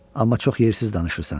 Amma çox yersiz danışırsan.